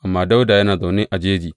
Amma Dawuda yana zaune a jeji.